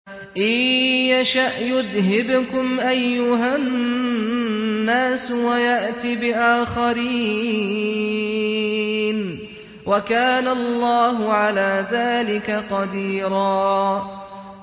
إِن يَشَأْ يُذْهِبْكُمْ أَيُّهَا النَّاسُ وَيَأْتِ بِآخَرِينَ ۚ وَكَانَ اللَّهُ عَلَىٰ ذَٰلِكَ قَدِيرًا